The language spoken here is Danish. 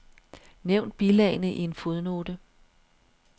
Nævn bilagene i en fodnote.